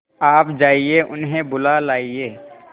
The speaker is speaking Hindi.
आप जाइए उन्हें बुला लाइए